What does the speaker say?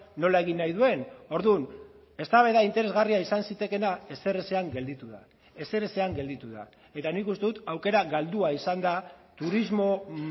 nola egin nahi duen orduan eztabaida interesgarria izan zitekeena ezerezean gelditu da ezerezean gelditu da eta nik uste dut aukera galdua izan da turismo